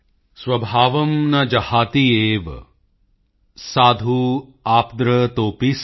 ਸਵਭਾਵੰ ਨ ਜਹਾਤਿ ਏਵ ਸਾਧੁ ਆਪਦ੍ਰਤੋਪੀ ਸਨ